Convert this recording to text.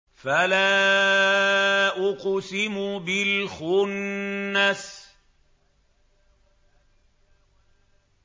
فَلَا أُقْسِمُ بِالْخُنَّسِ